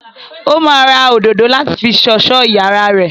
Ó máa ra òdòdó láti fi sọ̀sọ́ iyàrá rẹ.